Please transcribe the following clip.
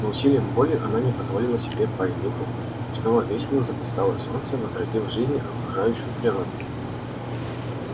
но усилием воли она не позволила себе пасть духом и снова весело заблистало солнце возродив в жизни окружающую природу